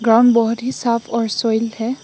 रंग बहुत ही साफ और सोयिल है।